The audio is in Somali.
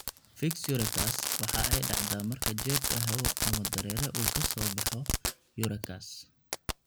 Fiix urachus waxa ay dhacdaa marka jeebka hawo ama dareere uu ka soo baxo urachus.